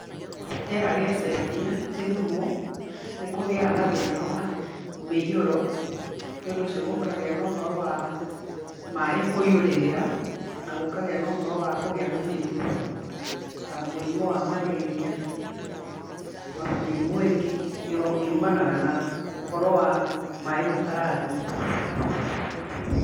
Rĩera rĩacenjia Gĩthumo, nĩ kũgĩaga na thĩna wa mĩiyũro, nĩ ũndũ ũcio gũkagĩa na ũhoro wa maaĩ kũiyũrĩrĩra, na gũkagĩa na ũhoro wa kũgĩa na mĩrimũ ta mũrimũ wa Marĩria, ona mĩrimũ ingĩ yumanaga na ũhoro wa maaĩ matarathiĩ.